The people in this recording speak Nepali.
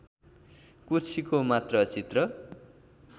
कुर्सीको मात्र चित्र